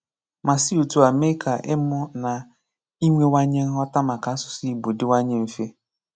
Ma si otú a mee ka ịmụ na inwewanye nghọta maka asụsụ Ìgbò dịwanye mfe.